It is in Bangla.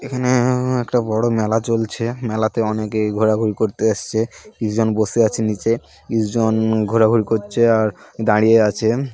এখানে-এ-এ একটা বড়ো মেলা চলছে মেলাতে অনেকেই ঘোরাঘুরি করতে এসসে কিছুজন বসে আছে নীচে কিছু জন ঘোরাঘুরি করছে আর দাঁড়িয়ে আছে।